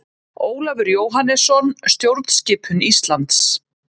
Ólafur Jóhannesson: Stjórnskipun Íslands.